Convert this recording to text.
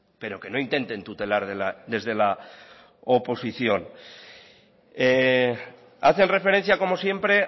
pero que no intenten tutelar desde la oposición hacen referencia como siempre